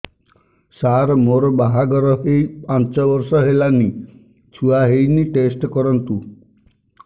ସାର ମୋର ବାହାଘର ହେଇ ପାଞ୍ଚ ବର୍ଷ ହେଲାନି ଛୁଆ ହେଇନି ଟେଷ୍ଟ କରନ୍ତୁ